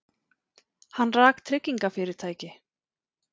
Hann rak tryggingafyrirtæki.